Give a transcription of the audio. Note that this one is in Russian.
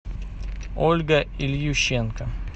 ольга ильющенко